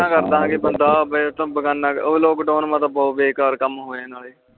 ਕਰਦਾ ਗਏ ਬੰਦਾ lockdown ਮੈ ਤਾ ਬਹੁਤ ਬੇਕਰ ਕਾਮ ਹੋਇਆ ਨਾਲੇ